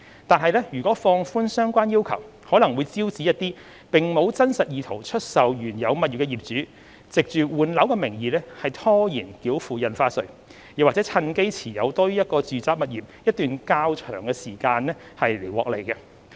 然而，如果放寬相關要求，可能會招致一些並無真實意圖出售原有物業的業主，藉換樓的名義拖延繳付印花稅，或趁機持有多於一個住宅物業一段較長時間以圖獲利。